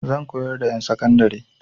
Zan koyar wa ƴan sakandari.